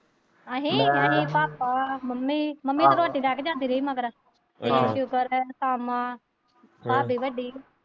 ਅਸੀਂ papa mummy mummy ਤੇ ਰੋਟੀ ਲੈ ਕੇ ਆਉਂਦੀ ਰਹੀ ਮਗਰ ਪਾਲਾ ਭਾਬੀ ਵੱਡੀ।